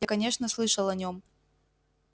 я конечно слышал о нем